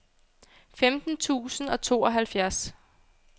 femten tusind og tooghalvfjerds